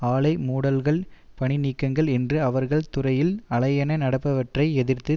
ஆலை மூடல்கள் பணிநீக்கங்கள் என்று அவர்கள் துறையில் அலையென நடப்பவற்றை எதிர்த்து